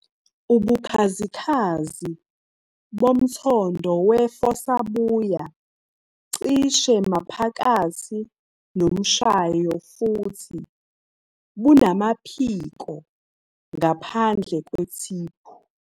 Ubukhazikhazi bomthondo wefossa buya cishe maphakathi nomshayo futhi bunamaphiko ngaphandle kwethiphu.